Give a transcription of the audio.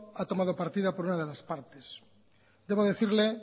ha tomado partida por una de las partes debo decirle